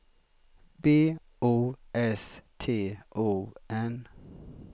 B O S T O N